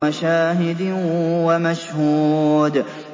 وَشَاهِدٍ وَمَشْهُودٍ